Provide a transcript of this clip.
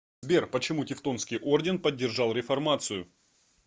сбер почему тевтонский орден поддержал реформацию